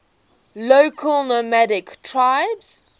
local nomadic tribes